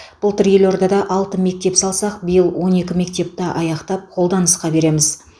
былтыр елордада алты мектеп салсақ биыл он екі мектепті аяқтап қоллданысқа береміз